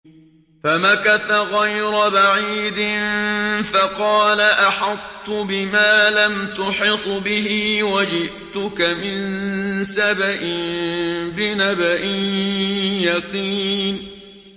فَمَكَثَ غَيْرَ بَعِيدٍ فَقَالَ أَحَطتُ بِمَا لَمْ تُحِطْ بِهِ وَجِئْتُكَ مِن سَبَإٍ بِنَبَإٍ يَقِينٍ